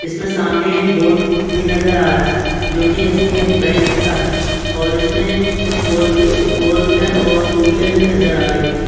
इसमें सामने एक बोर्ड भी नज़र आ रहा है जो की एस बी आई बैंक का है और इसमें कुछ फोरवी फोरव्हीलर और टूव्हीलर भी नज़र आ रहीं हैं।